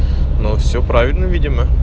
ну всё правильно видимо